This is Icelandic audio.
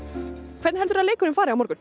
hvernig heldurðu að leikurinn fari á morgun